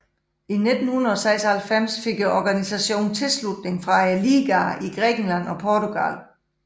I 1996 fik organisationen tilslutning fra ligaerne i Grækenland og Portugal